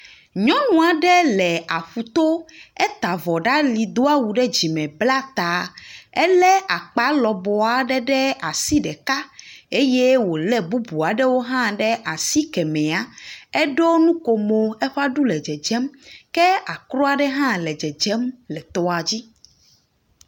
Nyɔnu aɖe le aƒu to. Eta avɔ ɖe ali do awu ɖe dzime bla ta. Elé akpa lɔbɔ aɖe ɖe asi ɖeka eye wole bubu aɖewo hã ɖe asi kemea. Eɖo nukomo, eƒe aɖu le dzedzem ke akrɔ aɖe hã le dzedzem le tɔa dzi.